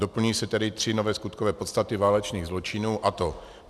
Doplňují se tedy tři nové skutkové podstaty válečných zločinů, a to: